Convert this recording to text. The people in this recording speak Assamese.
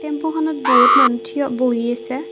টেম্পোখনত বহুত মানুহ থিয় বহি আছে।